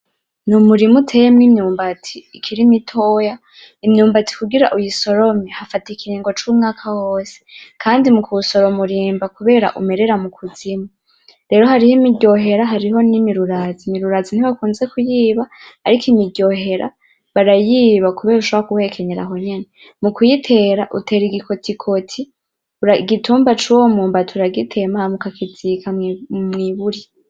Ni umurima uteyemwo imyumbati ikiri mitoya. Imyumbati kugira uyisorome, hafata ikiringo c'umwaka wose kandi mu kuwusoroma urimba kubera umerera mu kuzimu. Rero hariho imiryohera hariho n'imirurazi. Imirurazi ntibakunze kuyiba, ariko imiryohera barayiba kuberako ushobora kuwuhekenyera aho nyene. Mu kuyitera utera igikotikoti, igitumba c'uwo mwumbati uragitema hama ukagishira mw'iburi.